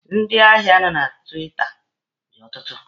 Ndị ahịa nọ na tiwita dị ọtụtụ.